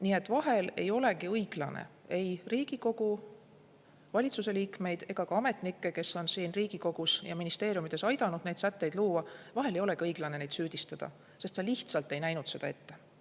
Nii et vahel ei olegi õiglane ei Riigikogu ega valitsuse liikmeid ega ka ametnikke, kes on siin Riigikogus ja ministeeriumides aidanud neid sätteid luua, süüdistada, sest nad lihtsalt ei näinud seda ette.